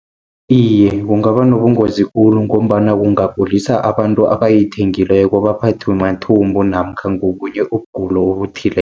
Iye, kungaba nobungozi khulu, ngombana kungagulisa abantu abayithengileko baphathwe mathumbu, namkha ngobunye ubugulo obuthileko.